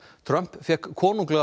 Trump fékk